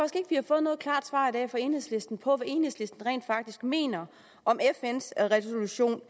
vi har fået noget klart svar i dag fra enhedslisten på enhedslisten rent faktisk mener om fns resolution